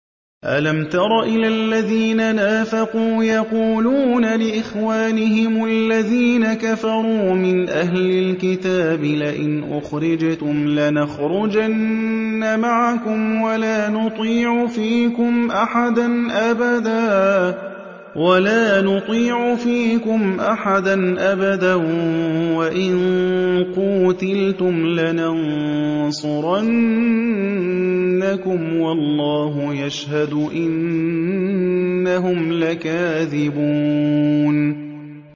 ۞ أَلَمْ تَرَ إِلَى الَّذِينَ نَافَقُوا يَقُولُونَ لِإِخْوَانِهِمُ الَّذِينَ كَفَرُوا مِنْ أَهْلِ الْكِتَابِ لَئِنْ أُخْرِجْتُمْ لَنَخْرُجَنَّ مَعَكُمْ وَلَا نُطِيعُ فِيكُمْ أَحَدًا أَبَدًا وَإِن قُوتِلْتُمْ لَنَنصُرَنَّكُمْ وَاللَّهُ يَشْهَدُ إِنَّهُمْ لَكَاذِبُونَ